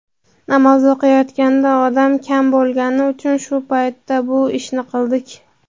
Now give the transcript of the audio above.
Namoz o‘qilayotganda odam kam bo‘lgani uchun shu paytda bu ishni qildik.